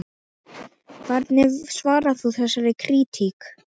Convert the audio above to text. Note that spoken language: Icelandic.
Hvernig svarar þú þessari krítík?